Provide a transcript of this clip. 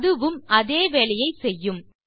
அதுவும் அதே வேலையை செய்யும்